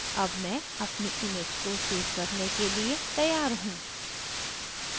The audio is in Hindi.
अब मैं अपनी image को सेव करने के लिए तैयार हूँ